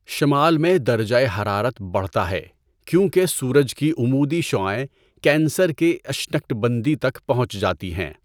شمال میں درجہ حرارت بڑھتا ہے کیونکہ سورج کی عمودی شعاعیں کینسر کے اشنکٹبندی تک پہنچ جاتی ہیں۔